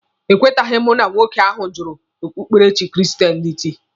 E kweteghi m na nwoke ahụ jụrụ okpukperechi kristenịtị.